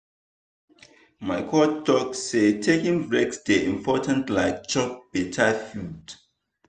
my coach talk say taking break dey important like chop better food.